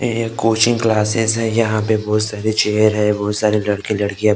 ये एक coaching classes है यहाँ पे बहुत सारी चेयर हैं बहुत सारे लड़के लड़कियां बैठी हुई हैं।